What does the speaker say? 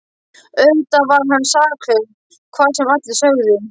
Auðvitað var hann saklaus hvað sem allir sögðu.